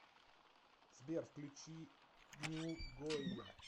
сбер включи ню гойя